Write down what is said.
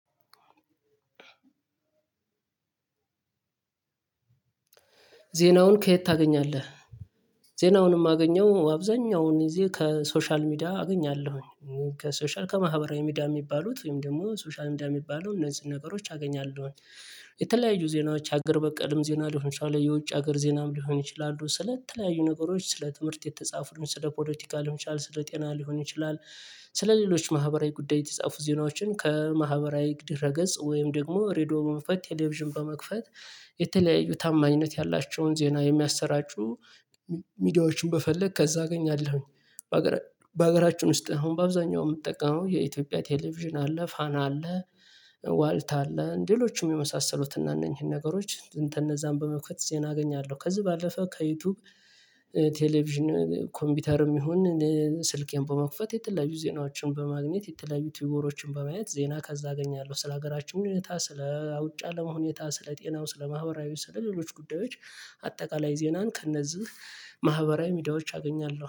ዜናውን ከየት ታገኛለ? ዜናውንም አገኘው አብዛኛውን ጊዜ ከሶሻል ሚዲያ አገኛለሁኝ ከሶሻል ከማህበራዊ ሚዲያ የሚባሉት ወይም ደግሞ ሶሻል ሚዲያ የሚባሉ እነዚህን ነገሮች አገኛለሁኝ የተለያዩ ዜናዎች ሀገር በቀልም ዜና ልሆን እንችላለን የውጭ ሀገር ዜናም ሊሆን ይችላሉ ስለተለያዩ ነገሮች ስለ ትምህርት የተጻፉ ስለ ፖለቲካ ሊሆን ይችላሉ ስለ ጤና ሊሆን ይችላል ስለ ሌሎች ማህበራዊ ጉዳይ የተጻፉ ዜናዎችን ከማህበራዊ ድረ ገጽ ወይም ደግሞ ሬድዮ በመክፈት ቴሌቪዥን በመክፈት የተለያዩ ታማኝነት ያላቸውን ዜና የሚያሰራጩ ሚዲያዎችን በመፈለግ ከዛ አገኛለሁኝ በሀገራችን ውስጥ አሁን በአብዛኛው የምትጠቀመው የኢትዮጵያ ቴሌቪዥን አለ ፋና አለ ዋልታ አለ ሌሎችም የመሳሰሉትና እነኚህን ነገሮች እንተ እነዛን በመክፈት ዜና አገኛለሁ ከዚህ ባለፈ ከዩቲዩብ ቴሌቪዥን ኮምፒውተርም ይሁን ስልኬን በመክፈት የተለያዩ ዜናዎችን በማግኘት የተለዩ ቲቦዎሮችን በማየት ዜና ከዛ አገኛለሁ ስለ ሀገራችን ምክንያታ ስለ ውጭ አለም ሁኔታ ስለ ጤናው ስለ ማህበራዊ ስለ ሌሎች ጉዳዮች አጠቃላይ ዜናን ከእነዚህ ማህበራዊ ሚዳዎች አገኛለሁ።